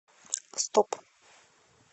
стоп